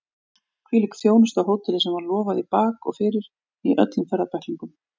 Hvílík þjónusta á hóteli sem var lofað í bak og fyrir í öllum ferðabæklingum!